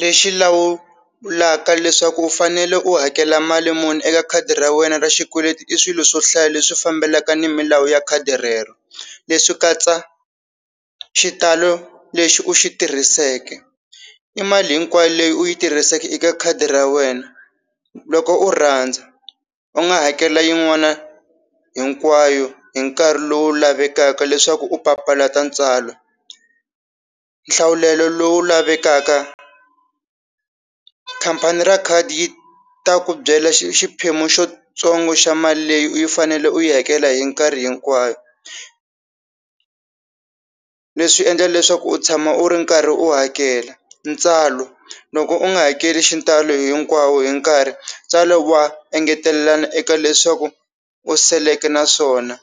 Lexi lawulaka leswaku u fanele u hakela mali muni eka khadi ra wena ra xikweleti i swilo swo hlaya leswi fambelaka ni milawu ya khadi rero leswi katsa xitalo lexi u xi tirhiseke i mali hinkwayo leyi u yi tirhiseke eka khadi ra wena loko u rhandza u nga hakela yin'wana hinkwayo hi nkarhi lowu lavekaka leswaku u papalata ntswalo nhlawulelo lowu lavekaka, khampani ra khadi yi ta ku byela xi xiphemu xo tsongo xa mali leyi u yi fanele u yi hakela hi nkarhi hinkwawo leswi endla leswaku u tshama u ri nkarhi u hakela ntswalo loko u nga hakeli xitalo hinkwawo hi nkarhi ntswalo wa engetelana eka leswaku u seleke na swona